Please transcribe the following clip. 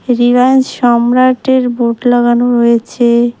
রিলায়েন্স সম্রাটের বোট লাগানো রয়েছে।